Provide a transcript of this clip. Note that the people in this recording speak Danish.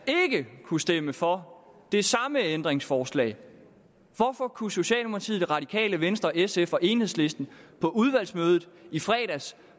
ikke kunne stemme for det samme ændringsforslag hvorfor kunne socialdemokratiet det radikale venstre sf og enhedslisten på udvalgsmødet i fredags